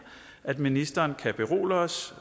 at ministeren kan berolige os